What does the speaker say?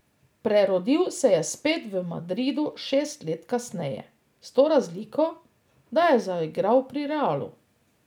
Prerodil se je spet v Madridu šest let kasneje, s to razliko, da je zaigrali pri Realu.